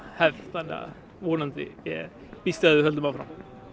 hefð þannig að vonandi ég býst við að við höldum áfram